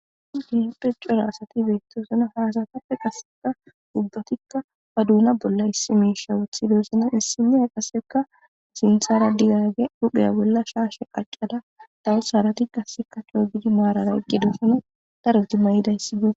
Dihepphe cora asati beyttosana haasatappe qaseka ubbatikka ba duna bolla issi miisha wuthidosna issinee qasseka zinthara digaage dhupheya bolla shaashe qacqada da'is harati qasseka coogidi maarara egedoosone daros di mayidayssibe.